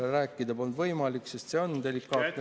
Rääkida polnud võimalik, sest see on delikaatne teema.